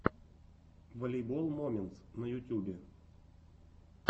волейбол моментс на ютубе